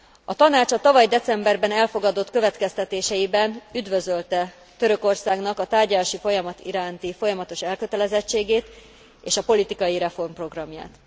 A Tanács a tavaly decemberben elfogadott következtetéseiben üdvözölte Törökországnak a tárgyalási folyamat iránti folyamatos elkötelezettségét és politikai reformprogramját.